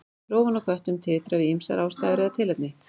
Rófan á köttum titrar við ýmsar aðstæður eða tilefni.